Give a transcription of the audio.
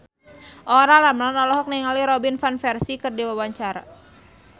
Olla Ramlan olohok ningali Robin Van Persie keur diwawancara